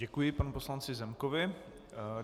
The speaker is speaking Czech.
Děkuji panu poslanci Zemkovi.